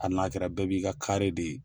Hali n'a kɛra bɛɛ b'i ka de